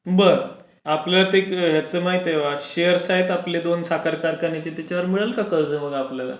बर. आपलं तेच माहीत आहे शेअर्स आहेत आपले दोन साखर कारखान्याचे त्याच्यावर मिळेल का कर्ज मग आपल्याला.